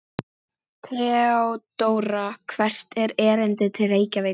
THEODÓRA: Hvert er erindið til Reykjavíkur?